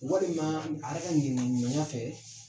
Walima a yɛrɛ ka ŋɛniyaɲumanya fɛ.